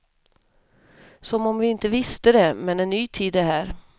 Som om vi inte visste det, men en ny tid är här.